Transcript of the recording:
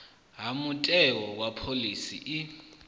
ha mutheo wa phoḽisi i